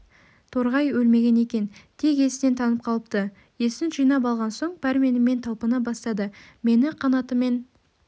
торғай өлмеген екен тек есінен танып қалыпты есін жинап алған соң пәрменімен талпына бастады мені қанатымен